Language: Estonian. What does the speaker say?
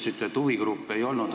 Te ütlesite, et huvigruppe ei olnud.